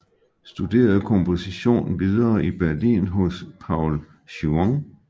Studerede komposition videre i Berlin hos Paul Juon